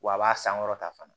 Wa a b'a sankɔrɔta fana